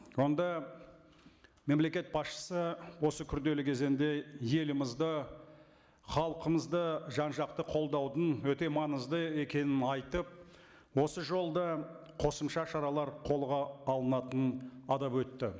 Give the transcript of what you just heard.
онда мемлекет басшысы осы күрделі кезеңде елімізді халқымызды жан жақты қолдаудың өте маңызды екенін айтып осы жолда қосымша шаралар қолға алынатынын атап өтті